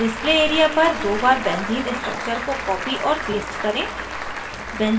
display area पर दो बार benzene structure को copy और paste करें